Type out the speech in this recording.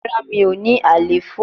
Rara mi o ni alefo